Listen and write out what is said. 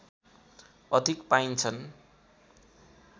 अधिक पाइन्छन्